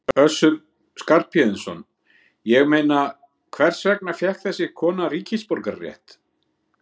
Össur Skarphéðinsson: Ég meina, hvers vegna fékk þessi kona ríkisborgararétt?